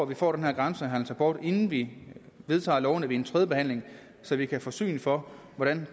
vi får den her grænsehandelsrapport inden vi vedtager lovene ved tredjebehandlingen så vi kan få syn for hvordan